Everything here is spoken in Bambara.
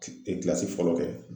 kilasi fɔlɔ kɛ